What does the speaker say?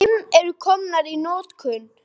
Fimm eru komnar í notkun.